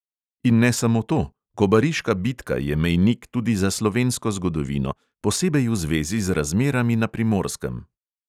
In ne samo to, kobariška bitka je mejnik tudi za slovensko zgodovino, posebej v zvezi z razmerami na primorskem.